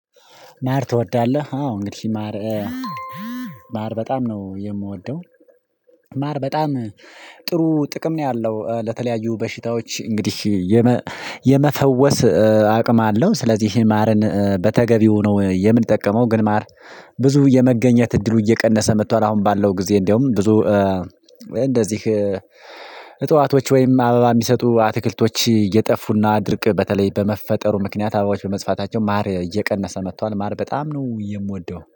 ማር ትወዳለህ? አዎ እንግዲህ ማር ማር በጣም ነው የምወደው። ማር በጣም ጥሩ ጥቅም ነው ያለው ለተለያዩ በሽታዎች እንግዲህ የመ የመፈወስ አቅም አለው ስለዚህ ማርን በተገቢው ነው የምጠቀመው። ግን ማር ብዙ የመገኘት እድሉ እየቀነሰ መጥቷል አሁን ባለው ጊዜ እንደውም ብዙ እንደዚህ እጽዋቶች ወይም አበባ የሚሰጡ አትክልቶች እየጠፉና ድርቅ በተለይ በመፈጠሩ ምክንያት አበባዎች በመጥፋታቸው ማር እየቀነሰ መጥቷል። ማር በጣም ነው የምወደው